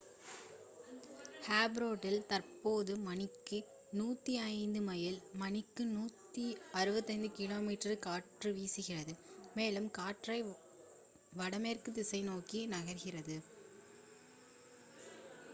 ஃப்ரெட்டில் தற்போது மணிக்கு 105 மைல் மணிக்கு 165 கிமீ காற்று வீசுகிறது மேலும் காற்று வடமேற்கு திசை நோக்கி நகர்கிறது